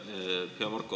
Aitäh!